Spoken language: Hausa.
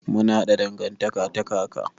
Mun haɗa dangantaka ta kaka.